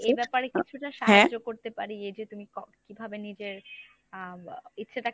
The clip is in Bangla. এব্যাপারে কিছুটা সাহায্য করতে পারি এইযে ‍তুমি ক~ কিভাবে নিজের আহ ইচ্ছেটাকে